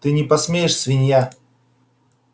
ты не посмеешь свинья